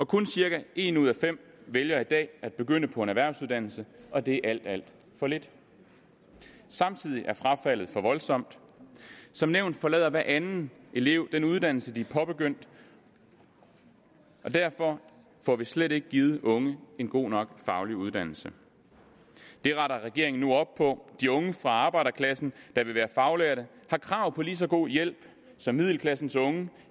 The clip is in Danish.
kun cirka en ud af fem vælger i dag at begynde på en erhvervsuddannelse og det er alt alt for lidt samtidig er frafaldet voldsomt som nævnt forlader hver anden elev den uddannelse de er påbegyndt og derfor får vi slet ikke givet unge en god nok faglig uddannelse det retter regeringen nu op på de unge fra arbejderklassen der vil være faglærte har krav på lige så god hjælp som middelklassens unge